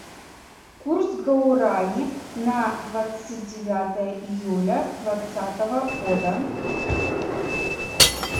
курс гуарани на двадцать девятое июля двадцатого года